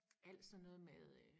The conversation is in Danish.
Alt sådan noget med øh